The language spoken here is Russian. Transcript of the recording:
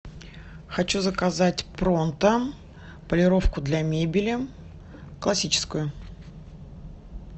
хочу заказать пронто полировку для мебели классическую